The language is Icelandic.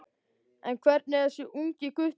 En hver er þessi ungi gutti?